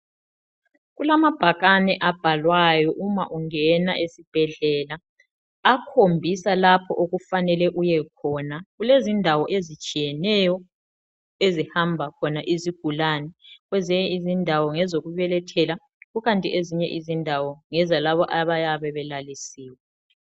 Kulamabhakane abhalwayo uma ungena esibhedlela akhombisa lapho okufanele uyekhona. Kulezindawo ezitshiyeneyo ezihamba khona izigulane. Kwezinye izindawo ngezokubelethela kukanti ezinye izindawo ngezalabo abayabe belalisiwe.